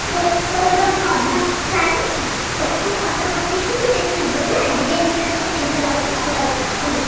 ତୋ ତୋର ଯୋଉ ଅଧା ସାରିନି ତୋ ପାଖକୁ photo ପଠେଇବି, ତୁ ଦେଖିବୁ ହେଲା designing ଟା ତତେ କେମିତା ଲାଗୁଚି କଣ ଲାଗୁଚି ମତେ କହିବୁ।